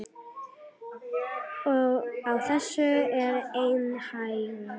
Á þessu er einn hængur.